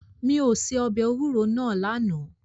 Mi ò se ọbẹ̀ ewúro náà lánàá.